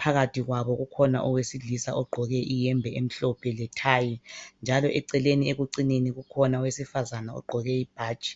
Phakathi kwabo ukhona owesilisa ogqoke iyembe emhlophe lethayi. Njalo eceleni kwekucineni kukhona owesifazana ogqoke ibhatshi.